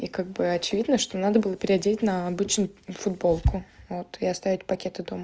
и как бы очевидно что надо было переодеть на обычную футболку вот и оставить пакеты дома